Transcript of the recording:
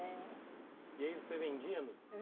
É. E aí você vendia?